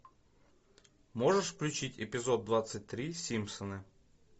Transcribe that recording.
можешь включить эпизод двадцать три симпсоны